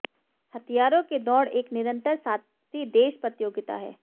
हथियारों की दौड़ एक निरंतर साथी देश प्रतियोगिता है